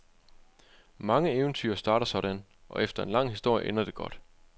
Mange eventyr starter sådan, og efter en lang historie, ender det godt.